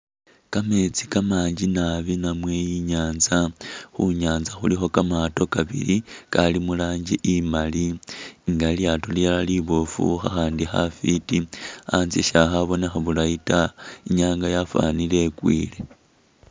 Kameetsi kamakali nabi namwe i'nyaanza, khu nyaanza khulikho kamaato kabili kali mu rangi imali nga lilyaato lilala liboofu, khakhandi khafwiti, anzye syakhabonekha bulayi ta, i'nyaanga yafwanile ikwiile.